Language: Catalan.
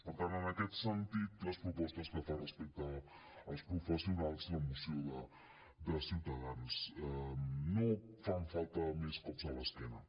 per tant en aquest sentit les propostes que fa respecte als professionals la moció de ciutadans no fan falta més cops a l’esquena